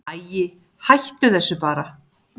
Æi, hættu þessu bara.